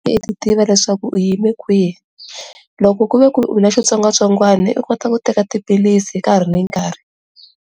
U tiva leswaku u yime kwihi loko ku ve ku u na xitsongwatsongwana u kota u teka tiphilisi hi nkarhi ni nkarhi.